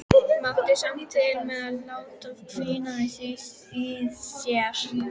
Mátti samt til með að láta hvína aðeins í sér.